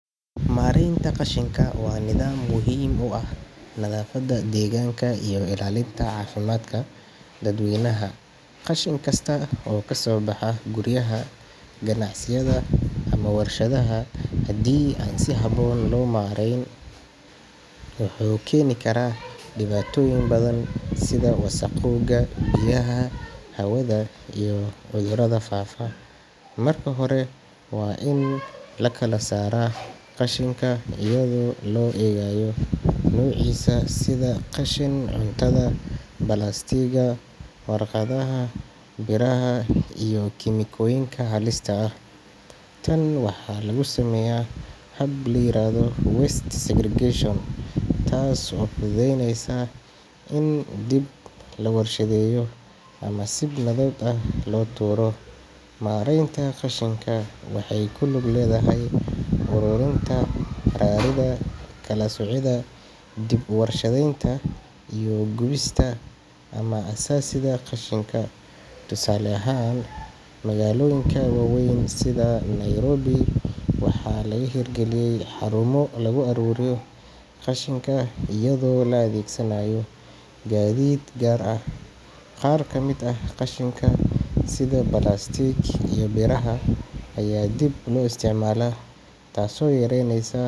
Maraynta qashinka waa nidaam muhiim u ah nadaafadda deegaanka iyo ilaalinta caafimaadka dadweynaha. Qashin kasta oo ka soo baxa guryaha, ganacsiyada ama warshadaha, haddii aan si habboon loo maarayn, wuxuu keeni karaa dhibaatooyin badan sida wasakhowga biyaha, hawada iyo cudurada faafa. Marka hore, waa in la kala saaraa qashinka iyadoo loo eegayo nuuciisa sida qashin cuntada, balaastigga, warqadda, biraha iyo kiimikooyinka halista ah. Tan waxaa lagu sameeyaa hab la yiraahdo waste segregation, taas oo fududeynaysa in dib loo warshadeeyo ama si nabad ah loo tuuro. Maraynta qashinka waxay ku lug leedahay ururinta, raridda, kala soocidda, dib-u-warshadaynta iyo gubista ama aasidda qashinka. Tusaale ahaan, magaalooyinka waaweyn sida Nairobi waxaa laga hirgaliyay xarumo lagu aruuriyo qashinka iyadoo la adeegsanayo gaadiid gaar ah. Qaar ka mid ah qashinka sida balaastigga iyo biraha ayaa dib loo isticmaalaa taasoo yareyneysa.